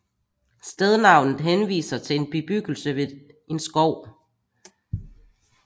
Stednavnet henviser til en bebyggelse ved en skov